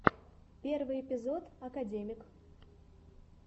первый эпизод академик